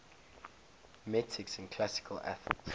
metics in classical athens